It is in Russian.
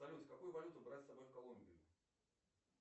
салют какую валюту брать с собой в колумбию